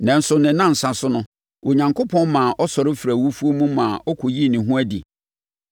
Nanso, ne nnansa so no, Onyankopɔn maa ɔsɔre firii awufoɔ mu maa ɔkɔyii ne ho adi.